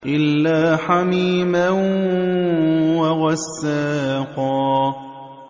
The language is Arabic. إِلَّا حَمِيمًا وَغَسَّاقًا